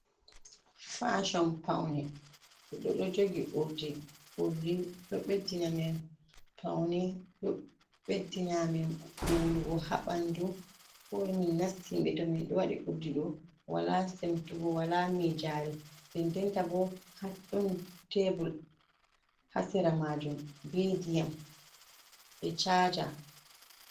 Fashon paune ɗoɗo jogi urdi ɗo beddina amin paune ɗo beddina amin urugo habandu komin nasti himbe to min do wadi urdido wala semtugo wala mijari dendenta bo dun tebul hasera majun be diyam e chaja.